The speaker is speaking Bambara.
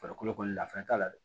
Farikolo kɔni nafa t'a la dɛ